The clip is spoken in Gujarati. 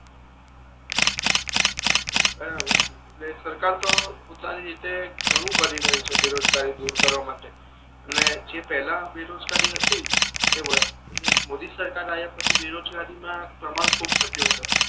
એટલે સરકાર તો પોતાની રીતે ઘણુ કરી રહી છે બેરોજગારી દૂર કરવા માટે અને પહલા જે બેરોજગારી હતી એ વધી ને મોદી સરકાર આવ્યા પછી બેરોજગારી મા પ્રમાણ ખૂબ ઘટ્યો છે.